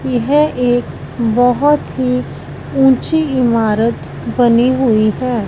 यह एक बहोत ही ऊंची इमारत बनी हुई है।